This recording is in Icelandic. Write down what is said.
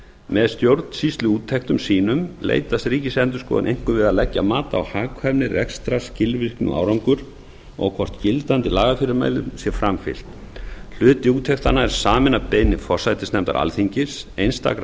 með stjórnsýsluúttektum sínum leitast ríksiendurksoðun einkum við að leggja mat á hagkvæmni rekstrar skilvirkni og árangur og hvort gildandi lagafyrirmælum sé framfylgt hluti úttektanna er saminn að beiðni forsætisnefndar alþingis einstakra